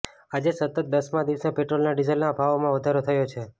આજે સતત દસમાં દિવસે પેટ્રોલના ડિઝલના ભાવોમાં વધારો થયો છે